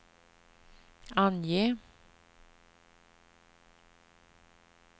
ange